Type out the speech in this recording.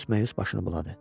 Məyus-məyus başını buladı.